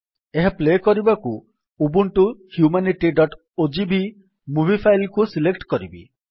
ଏହା ପ୍ଲେ କରିବାକୁ ଉବୁଣ୍ଟୁ humanityଓଜିଭି ମୁଭି ଫାଇଲ୍ କୁ ସିଲେକ୍ଟ୍ କରିବି